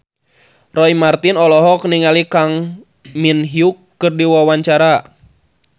Roy Marten olohok ningali Kang Min Hyuk keur diwawancara